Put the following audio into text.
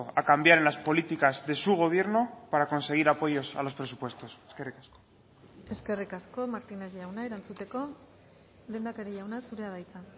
a cambiar en las políticas de su gobierno para conseguir apoyos a los presupuestos eskerrik asko eskerrik asko martínez jauna erantzuteko lehendakari jauna zurea da hitza